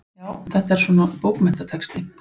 Já, þetta er svona. bókmenntatexti.